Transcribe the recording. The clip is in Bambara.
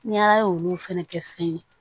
N y'a ye olu fɛnɛ kɛ fɛn ye